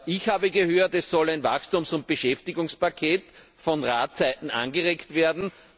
Ich habe gehört, es sollen Wachstums und Beschäftigungspakete von Seiten des Rates angeregt werden.